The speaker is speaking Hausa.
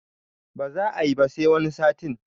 Ba za ayi ba sai wani satin